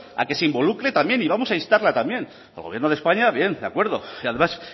a que se involucre también y vamos a instarla también al gobierno de españa bien de acuerdo y además